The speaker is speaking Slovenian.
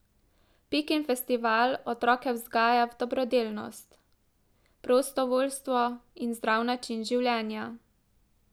Pikin festival otroke vzgaja v dobrodelnost, prostovoljstvo in zdrav način življenja.